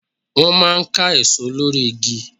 Wọ́n máa ń ká èso lórí igi.